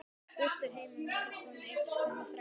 Heimir Már: Er komið einhvers konar þrátefli í þetta?